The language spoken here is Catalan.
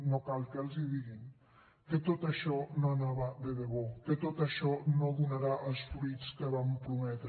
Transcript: no cal que els hi diguin que tot això no anava de debò que tot això no donarà els fruïts que van prometre